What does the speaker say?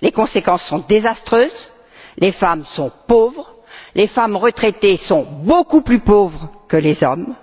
Les conséquences sont désastreuses les femmes sont pauvres, les femmes retraitées sont beaucoup plus pauvres que les hommes,